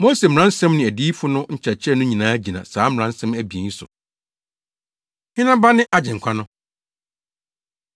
Mose mmaransɛm ne adiyifo no nkyerɛkyerɛ no nyinaa gyina saa mmaransɛm abien yi so.” Hena Ba Ne Agyenkwa No?